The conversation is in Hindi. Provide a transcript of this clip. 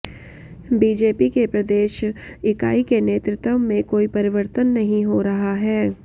बीजेपी के प्रदेश इकाई के नेतृत्व में कोई परिवर्तन नहीं हो रहा है